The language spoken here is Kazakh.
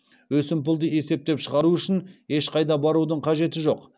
өсімпұлды есептеп шығару үшін ешқайда барудың қажеті жоқ